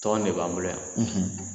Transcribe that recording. Tɔgɔ in ne b'an bolo yan